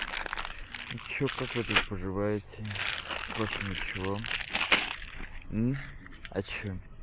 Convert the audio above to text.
что как вы тут поживаете как ваше ничего а что